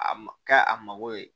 A ma kɛ a mago ye